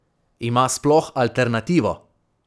Ima sploh alternativo?